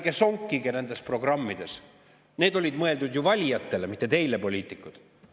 Ta ütles, et ärge sonkige nendes programmides, need olid mõeldud ju valijatele, mitte teile, poliitikud.